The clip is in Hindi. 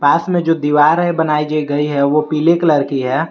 पास में जो दीवार है जो बनाई गई है वो पीले कलर की है।